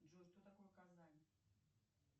джой что такое казань